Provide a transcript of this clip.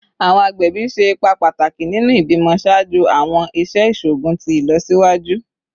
Awọn agbẹbi ṣe ipa pataki ninu ibimọ ṣaaju awọn iṣẹ iṣoogun ti ilọsiwaju